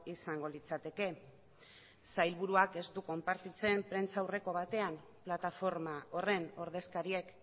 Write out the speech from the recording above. izango litzateke sailburuak ez du konpartitzen prentsaurreko batean plataforma horren ordezkariek